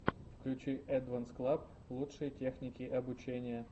включи эдванс клаб лучшие техники обучения